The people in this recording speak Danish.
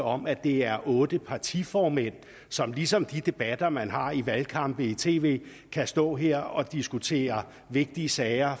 om at det er otte partiformænd som ligesom i de debatter man har i valgkampe i tv kan stå her og diskutere vigtige sager